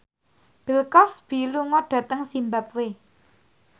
Bill Cosby lunga dhateng zimbabwe